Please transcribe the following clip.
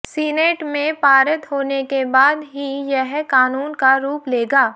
senate में पारित होने के बाद ही यह कानून का रूप लेगा